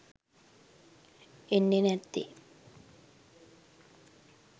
එන්නේ නැත්තේ.